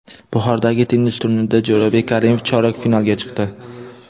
Buxorodagi tennis turnirida Jo‘rabek Karimov chorak finalga chiqdi.